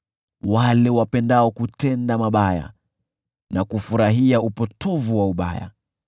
wale wapendao kutenda mabaya na kufurahia upotovu wa ubaya,